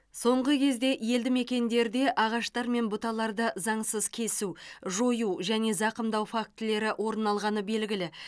соңғы кезде елді мекендерде ағаштар мен бұталарды заңсыз кесу жою және зақымдау фактілері орын алғаны белгілі